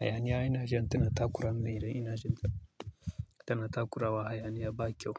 Hayaniya ina jin tana takura mini idan ina jin ta tana takurawa hayaniya ba kyau.